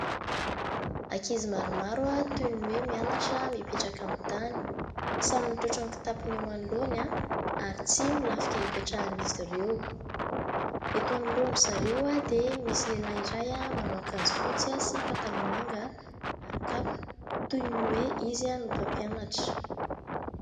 Ankizy maromaro toy ny hoe mianatra mipetraka amin'ny tany samy mitrotro ny kitapony eo anoloany ary tsihy no lafika hipetrahan'izy ireo, eto anoloan'izy ireo dia misy lehilahy iray manao akanjo fotsy sy pataloha manga ary kapa toy ny hoe izy no mpampianatra.